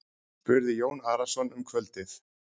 spurði Jón Arason um kvöldið.